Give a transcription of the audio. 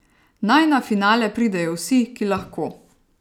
Naj na finale pridejo vsi, ki lahko.